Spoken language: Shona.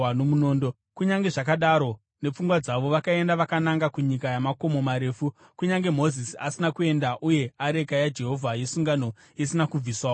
Kunyange zvakadaro, nepfungwa dzavo, vakaenda vakananga kunyika yamakomo marefu, kunyange Mozisi asina kuenda uye areka yaJehovha yesungano isina kubviswawo pamusasa.